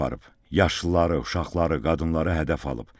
Yaşlıları, uşaqları, qadınları hədəf alıb.